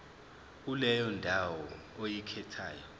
kuleyo ndawo oyikhethayo